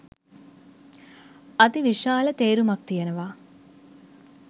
අතිවිශාල තේරුමක් තියෙනවා.